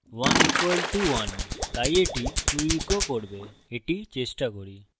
1 equal to 1 তাই এটি true echo করবে এটি চেষ্টা করি